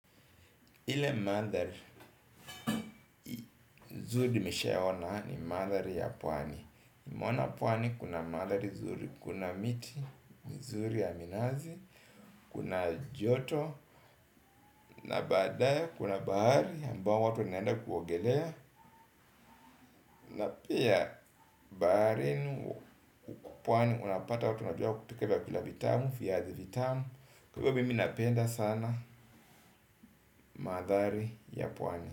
Ile manthari, zuri nimeshayaona ni mathari ya pwani. Mwana pwani kuna manthari zuri, kuna miti, mzuri ya minazi, kuna joto, na baadaye kuna bahari ambao watu wanaenda kuogelea. Na pia baharini huku pwani unapata watu wanajua kupika vyakula vitamu, viazi vitamu, kwa hivo mimi napenda sana madhari ya pwani.